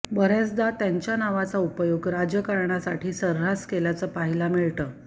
बऱ्याचदा यांच्या नावाचा उपयोग राजकारणासाठी सऱ्हास केल्याचं पाहायला मिळतं